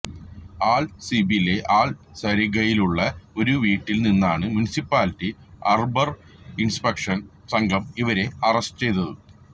അല് സീബിലെ അല് ശരീഗയിലുള്ള ഒരു വീട്ടില് നിന്നാണ് മുനിസിപ്പാലിറ്റി അര്ബര് ഇന്സ്പെക്ഷന് സംഘം ഇവരെ അറസ്റ്റ് ചെയ്തത്